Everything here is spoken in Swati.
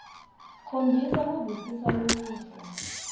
khombisa kuvisisa lokuhle